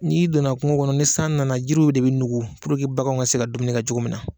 N'i donna kungo kɔnɔ ni san nana jiriw de bi nugu bagan ka se ka dumuni kɛ cogo min na.